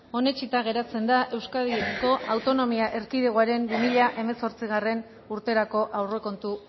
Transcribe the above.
onetsita geratzen da euskadiko autonomia erkidegokoaren bi mila hemezortzigarrena urterako aurrekontu